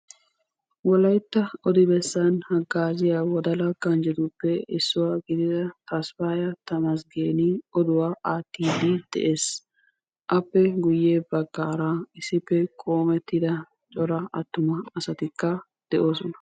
Wolaytta odi bessan haggaziya Wodala ganjjetuppe issuwa gidida Tasfaya Tamasggen Oduwaa aattide de'ees. Appe guyye baggaara issippe qoommetida cora attuma asatikka de'oosona.